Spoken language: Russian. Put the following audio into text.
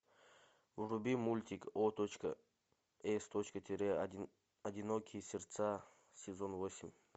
вруби мультик о точка с точка тире одинокие сердца сезон восемь